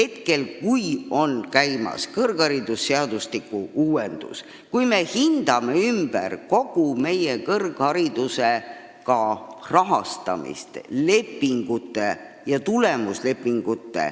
Meil käib kõrgharidusseadustiku uuendamine: me hindame ümber kogu kõrghariduse rahastamise ja lepingud, sh tulemuslepingud.